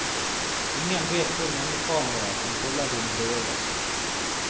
Ingen vet hvor mange kameraer som følger dine bevegelser.